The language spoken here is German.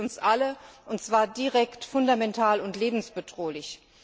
Sie trifft uns alle, und zwar direkt, fundamental und lebensbedrohlich.